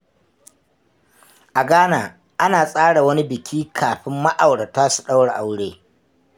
A Ghana, ana tsara wani biki kafin ma’aurata su daura aure.